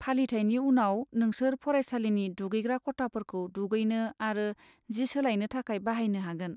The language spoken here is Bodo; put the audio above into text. फालिथायनि उनाव, नोंसोर फरायसालिनि दुगैग्रा खथाफोरखौ दुगैनो आरो जि सोलायनो थाखाय बाहायनो हागोन।